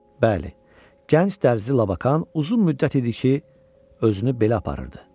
Bəli, gənc dərzi Labakan uzun müddət idi ki, özünü belə aparırdı.